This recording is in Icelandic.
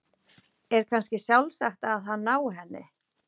Er kannski sjálfsagt að hann nái henni?